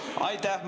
Aitäh!